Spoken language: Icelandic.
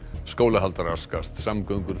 skólahald raskast samgöngur